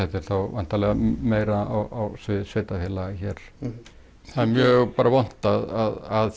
væntanlega meira á sviði sveitarfélaga hér það er mjög vont að